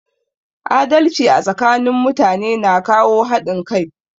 Adalci a tsakanin mutane na kawo haɗin kai